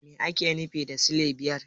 Me ake nufi da silai biyar?